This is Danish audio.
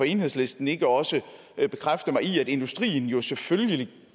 enhedslisten ikke også bekræfte mig i at industrien jo selvfølgelig